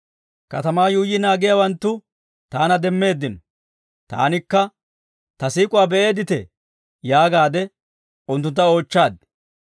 Katamaa yuuyyi naagiyaawanttu taana demmeeddino; taanikka, Ta siik'uwaa be'eeditee? yaagaade unttuntta oochchaad.